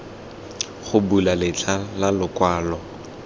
go bula letlha la lokwalo